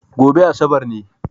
Gobe Asabar ne